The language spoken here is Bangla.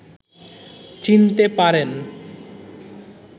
চিনতে পারেন